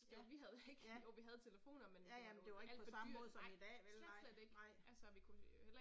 Ja, ja. Ja ja men det var ikke på samme måde som i dag vel nej, nej